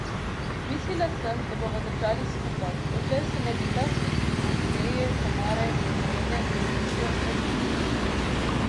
Mislila sem, da bova držali skupaj, dokler se ne bi ta skupina Deje, Tamare, Milene in Mitje razbila.